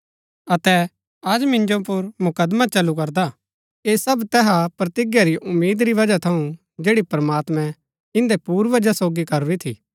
अतै अज मिन्जो पुर मुकदमा चलु करदा ऐह सब तैहा प्रतिज्ञा री उम्मीद री वजह थऊँ जैड़ी प्रमात्मैं इन्दै पूर्वजा सोगी करूरी थी